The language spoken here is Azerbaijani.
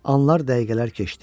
Anlar, dəqiqələr keçdi.